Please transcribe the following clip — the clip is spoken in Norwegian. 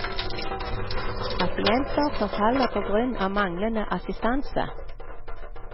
Pasienter som faller på grunn av manglende assistanse.